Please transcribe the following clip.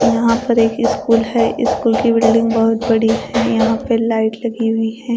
यहां पर एक स्कूल है स्कूल की बिल्डिंग बहोत बड़ी है यहां पे लाइट लगी हुई है।